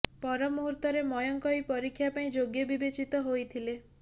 ପର ମୂହୁର୍ତ୍ତରେ ମୟଙ୍କ ଏହି ପରୀକ୍ଷା ପାଇଁ ଯୋଗ୍ୟ ବିବେଚିତ ହୋଇଥିଲେ